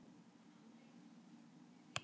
Ákvæða stjórnsýslulaga ekki gætt